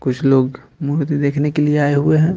कुछ लोग मूर्ति देखने के लिए आए हुए हैं।